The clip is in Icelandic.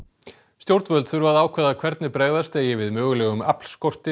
stjórnvöld þurfa að ákveða hvernig bregðast eigi við mögulegum